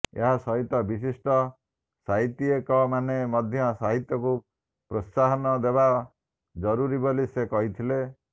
ଏହାସହିତ ବିଶିଷ୍ଟ ସାହିତି୍ୟକମାନେ ମଧ୍ୟ ସାହିତ୍ୟକୁ ପ୍ରୋତ୍ସାହନ ଦେବା ଜରୁରୀ ବୋଲି ସେ କହିଥିଲେ